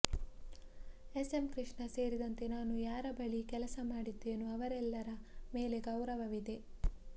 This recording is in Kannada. ಎಸ್ ಎಂ ಕೃಷ್ಣ ಸೇರಿದಂತೆ ನಾನು ಯಾರ ಬಳಿ ಕೆಲಸ ಮಾಡಿದ್ದೇನೋ ಅವರೆಲ್ಲರ ಮೇಲೆ ಗೌರವ ಇದೆ